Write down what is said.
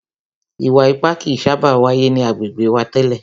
Ìwà ipá kìí sábà wáyé ni agbègbè wa tẹ́lẹ̀.